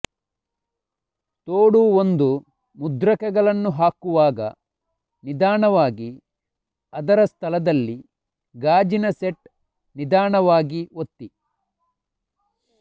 ತೋಡು ಒಂದು ಮುದ್ರಕಗಳನ್ನು ಹಾಕುವಾಗ ನಿಧಾನವಾಗಿ ಅದರ ಸ್ಥಳದಲ್ಲಿ ಗಾಜಿನ ಸೆಟ್ ನಿಧಾನವಾಗಿ ಒತ್ತಿ